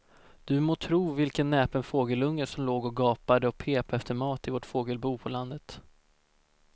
Du må tro vilken näpen fågelunge som låg och gapade och pep efter mat i vårt fågelbo på landet.